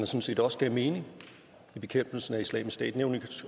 set også gav mening i bekæmpelsen af islamisk stat